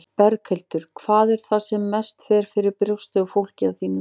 Berghildur: Hvað er það sem mest fer fyrir brjóstið á fólki, að þínu mati?